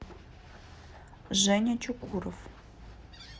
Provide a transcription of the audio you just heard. женя чукуров